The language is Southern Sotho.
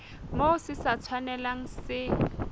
moo se sa tshwanelang se